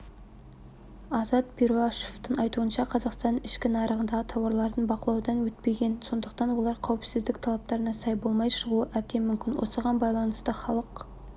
азат перуашевтың айтуынша қазақстанның ішкі нарығындағы тауарлардың бақылаудан өтпеген сондықтан олар қауіпсіздік талаптарына сай болмай шығуы әбден мүмкін осыған байланысты халық